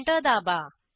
enter दाबा